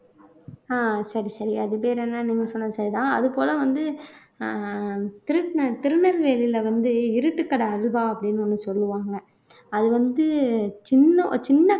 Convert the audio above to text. ஆஹ் சரி சரி அது பேர் என்னன்னு நீங்க சொன்னது சரிதான் அது போல வந்து அஹ் திருநெ திருநெல்வேலியில வந்து இருட்டுக்கடை அல்வா அப்படின்னு ஒண்ணு சொல்லுவாங்க அது வந்து சின்ன சின்ன